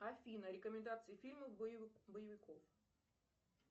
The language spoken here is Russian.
афина рекомендации фильмов боевиков